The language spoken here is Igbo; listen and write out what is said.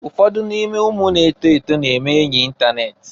Ụfọdụ n'ime ụmụ na-eto eto na-eme enyị itanet.